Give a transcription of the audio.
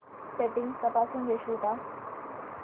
settings तपासून घेशील का